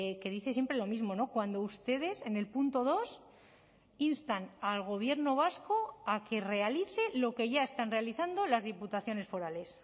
que dice siempre lo mismo cuando ustedes en el punto dos instan al gobierno vasco a que realice lo que ya están realizando las diputaciones forales